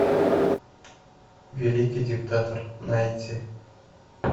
великий диктатор найти